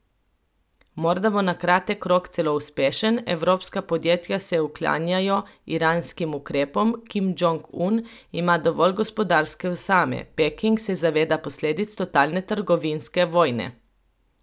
Morda bo na kratek rok celo uspešen, evropska podjetja se uklanjajo iranskim ukrepom, Kim Džong Un ima dovolj gospodarske osame, Peking se zaveda posledic totalne trgovinske vojne.